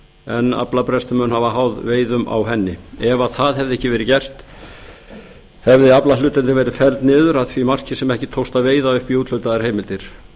en aflabrestur mun hafa háð veiðum á úthafsrækju ef ekkert væri að gert hefði aflahlutdeildin verið felld niður að því marki sem ekki tókst að veiða upp í úthlutaðar heimildir